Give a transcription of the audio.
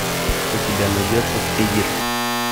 у тебя найдется триггер